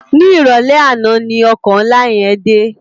Ni iròlè àná ni òkò nlá yèn dé